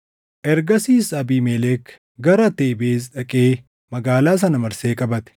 Ergasiis Abiimelek gara Tebez dhaqee magaalaa sana marsee qabate.